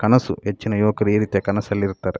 ಕನಸು ಹೆಚ್ಚಿನ ಯುವಕರು ಈರೀತಿಯ ಕನಸಲ್ಲಿ ಇರುತ್ತಾರೆ.